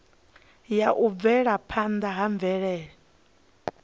ya u bvelaphanda ha mvelele